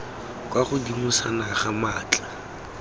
kwa godimo sa naga maatla